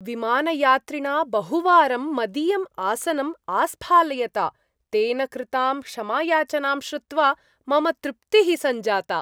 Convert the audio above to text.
विमानयात्रिणा बहुवारं मदीयम् आसनं आस्फालयता तेन कृतां क्षमायाचनां श्रुत्वा मम तृप्तिः सञ्जाता।